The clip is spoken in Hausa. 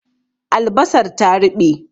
Albasar ta ruɓe